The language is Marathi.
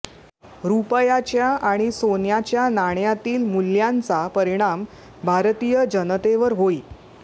रुपयाच्या आणि सोन्याच्या नाण्यातील मुल्यांचा परिणाम भारतीय जनतेवर होई